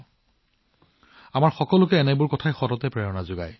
এইটো আমাৰ সকলো দেশবাসীৰ বাবে এক অনুপ্ৰেৰণা